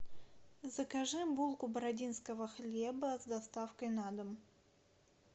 закажи булку бородинского хлеба с доставкой на дом